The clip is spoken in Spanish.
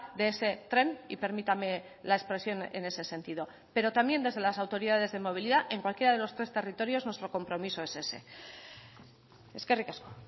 de ese tren y permítame la expresión en ese sentido pero también desde las autoridades de movilidad en cualquiera de los tres territorios nuestro compromiso es ese eskerrik asko